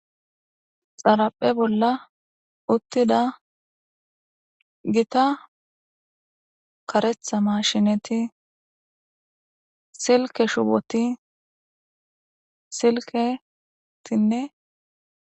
Xaraphe bolla uttida gita karetha mashineti silke shuboti silketinne.